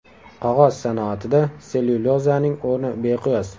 Qog‘oz sanoatida sellyulozaning o‘rni beqiyos.